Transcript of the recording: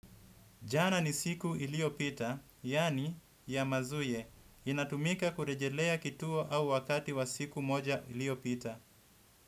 Jana ni siku iliyopita, yaani ya mazuye, inatumika kurejelea kituo au wakati wa siku moja iliyopita.